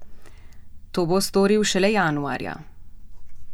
To bo storil šele januarja.